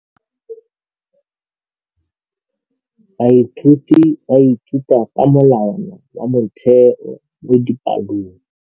Baithuti ba ithuta ka molawana wa motheo mo dipalong.